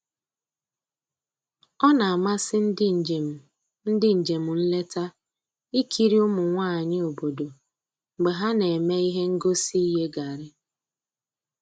O na-amasị ndị njem ndị njem nleta ikiri ụmụ nwanyị obodo mgbe ha na-eme ihe ngosi iye garri